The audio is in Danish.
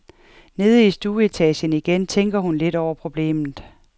Nede i stueetagen igen tænkte hun lidt over problemet.